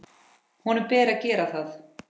Honum ber að gera það.